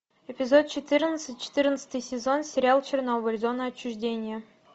эпизод четырнадцать четырнадцатый сезон сериал чернобыль зона отчуждения